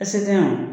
Ese tɛ yan